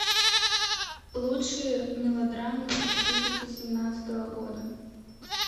лучшие мелодрамы две тысячи семнадцатого года